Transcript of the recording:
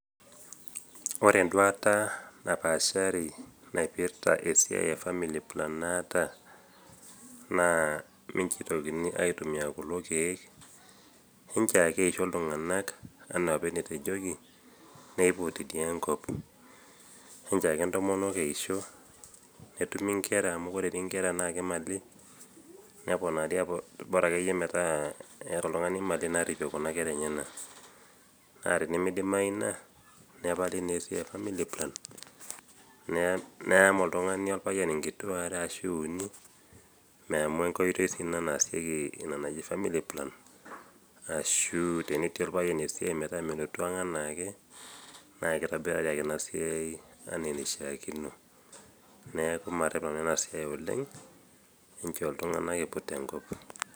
Ore enduata napaashari naipirta esiai e family plan naata naa mincho eitokini aitumia kulo keek inchoo ake eisho iltung'anak anaaopa enetejoki peeiputi dii enkop. Enchoo ake ntomonok eisho netumi nkera amu dii nkera naake imali neponari bora akeyie metaa eh eeta oltung'ani mali naarripie kuna kera enyena. Naa tenemeidimai ina nepali neesiai e  family plan neam oltung'ani olpayian nkituaa are ashu uni amu enkoitoi sii ina naasieki ina naji family plan ashu tenetii olpayian esiai metaa melotu ang' anaake naakeitobirari ake inasiai anaa eneishaakino neaku marrep nanu ena siai oleng' inchoo iltung'ana eiput enkop.